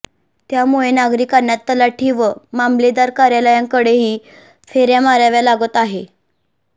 त्यामुळे नागरिकांना तलाठी व मामलेदार कार्यालयांकडेही फेऱया माराव्या लागत आहेत